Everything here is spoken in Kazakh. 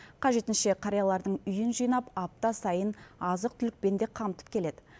қажетінше қариялардың үйін жинап апта сайын азық түлікпен де қамтып келеді